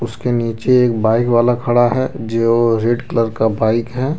उसके नीचे एक बाइक वाला खड़ा है जो रेड कलर का बाइक है।